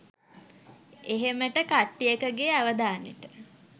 එහෙමට කට්ටියකගෙ අවධානෙට